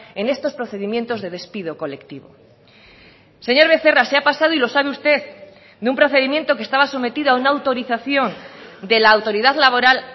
en estos procedimientos de despido colectivo señor becerra se ha pasado y lo sabe usted de un procedimiento que estaba sometido a una autorización de la autoridad laboral